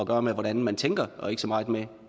gøre med hvordan man tænker og ikke så meget med